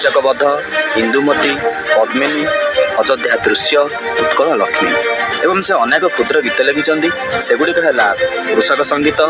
କୀଚକବଦ୍ଧ ଇନ୍ଦୁମତୀ ପଦ୍ମିନୀ ଅଯୋଧ୍ୟା ଦୃଶ୍ୟ ଉତ୍କଳ ଲକ୍ଷ୍ମୀ ଏବଂ ସେ ଅନେକ କ୍ଷୁଦ୍ର ଗୀତ ଲେଖିଛନ୍ତି ସେଗୁଡିକ ହେଲା କୃଷକ ସଙ୍ଗୀତ --